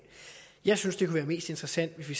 jeg synes det kunne være mest interessant hvis vi